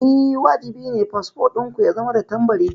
Eh, wajibi ne fasfo ɗin ku ya zama da tambari.